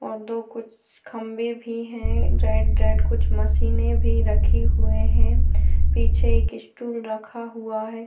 और दो कुछ खंबे भी है रेड रेड कुछ मशीने भी राखी हुए है पीछे एक स्टूल रखा हुआ है।